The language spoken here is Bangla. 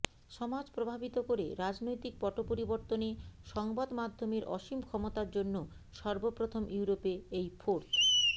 সমাজ প্রভাবিত করে রাজনৈতিক পটপরিবর্তনে সংবাদমাধ্যমের অসীম ক্ষমতার জন্য সর্বপ্রথম ইউরোপে এই ফোর্থ